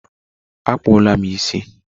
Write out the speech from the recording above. Akpụla m isi!